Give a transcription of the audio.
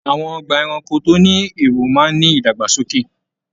Àwọn ọgbà ẹranko tó ní èrò máa ní ìdàgbàsókè.